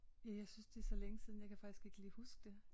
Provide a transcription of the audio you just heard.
Ja jeg synes det er så længe siden jeg kan faktisk ikke lige huske det